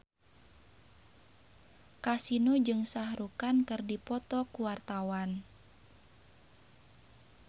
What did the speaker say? Kasino jeung Shah Rukh Khan keur dipoto ku wartawan